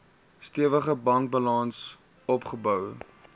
stewige bankbalans opgebou